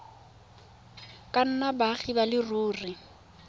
ka nnang baagi ba leruri